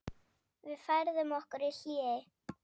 Við færðum okkur í hléi.